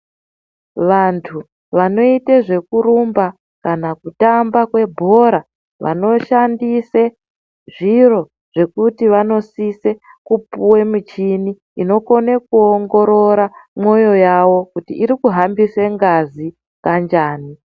Vanthu vanoite zvekurumba kana kutamba kwebhora vanoshandise zviro zvekuti vanosise kupuwe michini inokone kuongorora mwoyo yawo kuti iri kuhambisa ngazi kanjani.